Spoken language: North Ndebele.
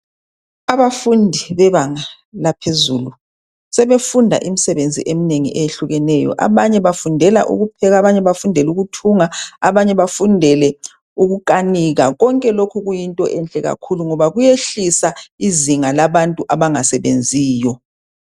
Abafundi bebanga laphezulu sebefunda imsebenzi eminengi eyehlukeneyo abanye bafundela ukupheka abanye bafundele ukuthunga abanye bafundele ukukanika konke lokhu kuyinto enhle kakhulu ngoba kuyehlisa izinga labantu abangasebenziyo.